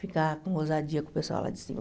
Ficar com ousadia com o pessoal lá de cima.